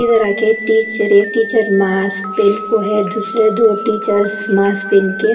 इधर आके टीचर है टीचर मास्क पहन को है दूसरे दो टीचर्स मास्क पेन के--